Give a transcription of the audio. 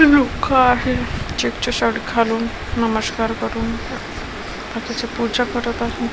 लोक आहे चेक्सच शर्ट घालून नमस्कार करून बाकीचे पूजा करीत आहे.